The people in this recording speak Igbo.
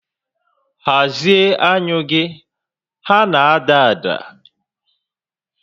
Hazie anyụ gị, ha na-ada ada!